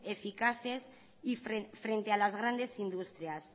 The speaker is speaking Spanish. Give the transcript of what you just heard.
eficaces y frente a las grandes industrias